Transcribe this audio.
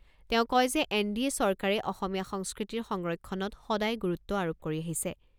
তেওঁ কয় যে এন ডি এ চৰকাৰে অসমীয়া সংস্কৃতিৰ সংৰক্ষণত সদায় গুৰুত্ব আৰোপ কৰি আহিছে।